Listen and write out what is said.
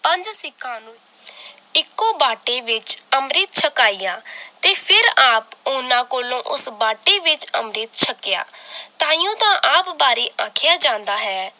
ਪੰਜ ਸਿਖਾਂ ਨੂੰ ਇੱਕੋ ਬਾਟੇ ਵਿਚ ਅੰਮ੍ਰਿਤ ਛਕਾਇਆ ਤੇ ਫਿਰ ਆਪ ਉਹਨਾਂ ਕੋਲੋਂ ਉਸ ਬਾਟੇ ਵਿਚ ਅੰਮ੍ਰਿਤ ਛਕਿਆ ਤਾਹਿਯੋੰ ਤਾਂ ਆਪ ਬੜੀ ਆਖਿਆ ਜਾਂਦਾ ਹੈ L